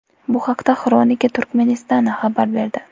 Bu haqda ”Xronika Turkmenistana” xabar berdi .